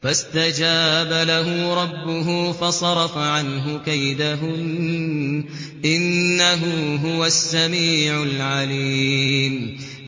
فَاسْتَجَابَ لَهُ رَبُّهُ فَصَرَفَ عَنْهُ كَيْدَهُنَّ ۚ إِنَّهُ هُوَ السَّمِيعُ الْعَلِيمُ